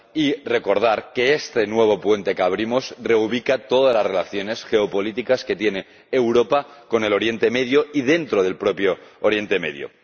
Cabe recordar que este nuevo puente que abrimos reubica todas las relaciones geopolíticas que tiene Europa con Oriente Próximo y dentro del propio Oriente Próximo.